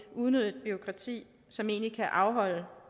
unødigt bureaukrati som egentlig kan afholde